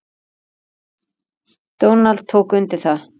Donald tók undir það.